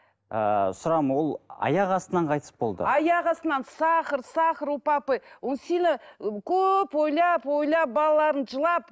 ыыы сұрағым ол аяқ астынан қайтыс болды аяқ астынан сахар сахар у папы он сильно көп ойлап ойлап балаларын жылап